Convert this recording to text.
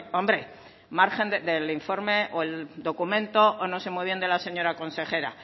hombre margen del informe o el documento o no sé muy bien de la señora consejera